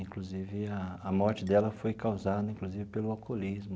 Inclusive, a a morte dela foi causada inclusive pelo alcoolismo.